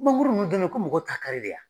Mangoro nun den bɛ ye ko mɔgɔw t'a kari de ya.